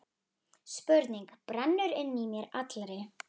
Spurning brennur inn í mér allri.